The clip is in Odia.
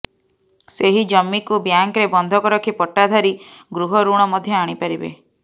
ସେହି ଜମିକୁ ବ୍ୟାଙ୍କରେ ବନ୍ଧକ ରଖି ପଟ୍ଟାଧାରୀ ଗୃହ ଋଣ ମଧ୍ୟ ଆଣିପାରିବେ